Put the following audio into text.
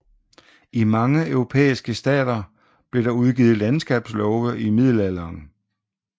I mange europæiske stater blev der udgivet landskabslove i middelalderen